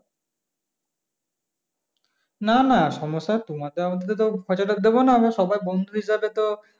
না না সমস্যার তোমাদের আমাদের তো দেবো না আমরা সবাই বন্ধু হিসাবে তো,